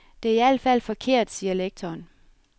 Det er i al fald forkert, siger lektoren.